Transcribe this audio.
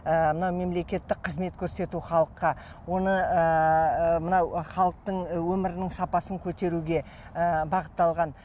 ы мынау мемлекеттік қызмет көрсету халыққа оны ыыы мынау халықтың өмірінің сапасын көтеруге ы бағытталған